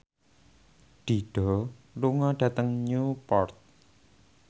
Dido lunga dhateng Newport